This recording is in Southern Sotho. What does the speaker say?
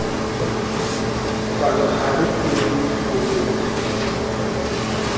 palohare e ne e finyelletswe